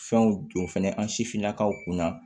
Fɛnw don fɛnɛ an sifinnakaw kunna